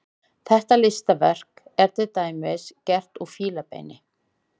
Þetta listaverk er til dæmis gert úr fílabeini.